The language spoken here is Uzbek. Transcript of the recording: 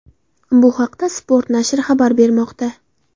Bu haqda Sport nashri xabar bermoqda .